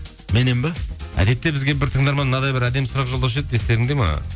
меннен бе әдетте бізге бір тыңдарман мынадай әдемі сұрақ жолдаушы еді естеріңде ме